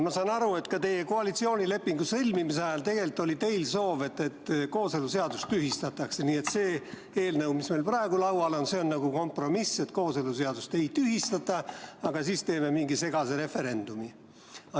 Ma saan aru, et ka koalitsioonilepingu sõlmimise ajal oli teil soov, et kooseluseadus tühistataks, nii et see eelnõu, mis meil praegu laual on, on kompromiss, kooseluseadust ei tühistata, aga teeme siis mingi segase referendumi.